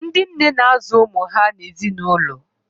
Ndị nne na-azụ ụmụ ha na ezinụlọ ha.